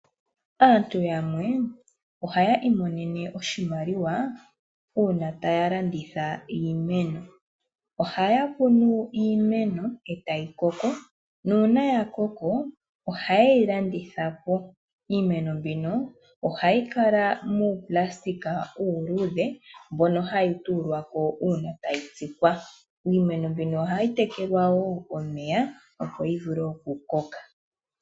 Aantu yamwe ohaya iimonene oshimaliwa uuna taya landitha iimeno, ohaya kunu iimeno etayi koko, nuuna ya koko ohaye yi landithapo. Iimeno mbika ohayi kala muunayilona uuludhe mboka hawu tuulwako uuna tayi tsikwa. Iimeno mbika ohayi tekelwa wo omeya opo yi vule oku koka.